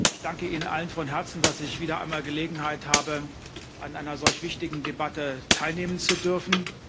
Ich danke Ihnen allen von Herzen, dass ich wieder einmal Gelegenheit habe, an einer solch wichtigen Debatte teilnehmen zu dürfen.